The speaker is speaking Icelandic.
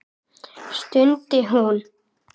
stundi hún.